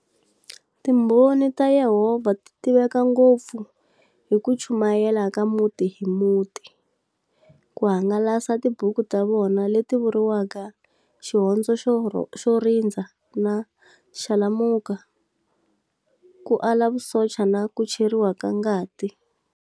Timbhoni ta yehovha titiveka ngopfu hi kuchumayela ka muti-hi-muti, kuhangalasa tibuku tavona leti vuriwaka"Xihondzo xo Rindza" na"Xalamuka!", ku ala Vusocha na kucheriwa ka ngati.